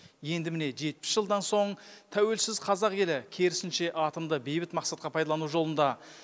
енді міне жетпіс жылдан соң тәуелсіз қазақ елі керісінше атомды бейбіт мақсатқа пайдалану жолында